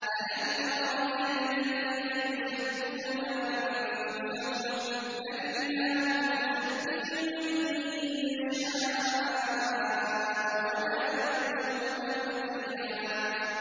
أَلَمْ تَرَ إِلَى الَّذِينَ يُزَكُّونَ أَنفُسَهُم ۚ بَلِ اللَّهُ يُزَكِّي مَن يَشَاءُ وَلَا يُظْلَمُونَ فَتِيلًا